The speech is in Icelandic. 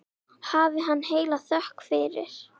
Hafi hann heila þökk fyrir.